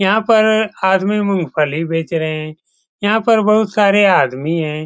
यहा पर आदमी मूंगफली बेच रहे हैं यहाँ पर बहुत सारे आदमी हैं।